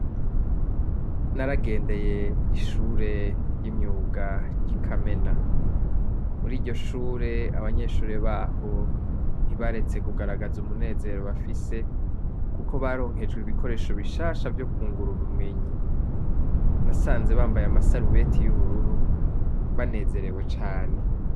Naragendeye ishuri ry'imyuga ryi Kamena muriryo shure abanyeshure baho ntibaretse kugaragaza umunezero bafise kuko baronkejwe ibikoresho bishasha vyo kungura ubumenyi nasanze bambaye amasarubeti y'ubururu banezerewe cane.